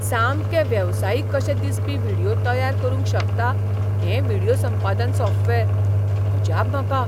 सामके वेवसायीक कशे दिसपी व्हिडियो तयार करूंक शकता हें व्हिडियो संपादन सॉफ्टवेअर. अजाप म्हाका!